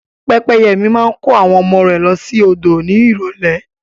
Pẹ́pẹ́yẹ mi máa kó àwọn ọmọ rẹ̀ lọ sí odò ní ìrólé